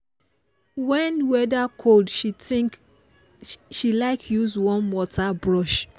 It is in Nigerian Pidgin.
when weather cold she like dey use warm water brush